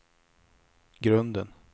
grunden